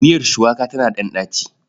Miiyar shuwaka tana ɗan ɗaci.